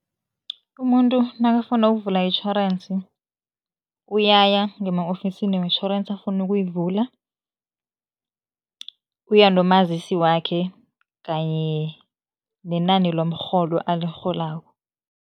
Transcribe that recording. Umuntu nakafuna ukuvula itjhorensi, uyaya ngema-ofisini wetjhorensi afuna ukuyivula, uya nomazisi wakhe kanye nenani lomrholo alirholako.